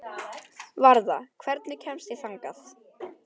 Varða, hvernig kemst ég þangað?